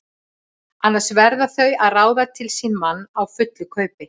Annars verða þau að ráða til sín mann á fullu kaupi.